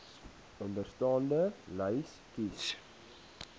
onderstaande lys kies